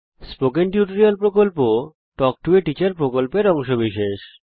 spoken tutorial প্রকল্প talk to a teacher প্রকল্পের অংশবিশেষ